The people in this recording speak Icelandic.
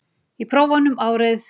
Í prófunum árið